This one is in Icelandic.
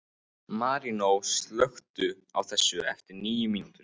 Marínó, slökktu á þessu eftir níu mínútur.